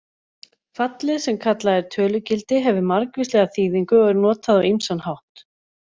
Fallið sem kallað er tölugildi hefur margvíslega þýðingu og er notað á ýmsan hátt.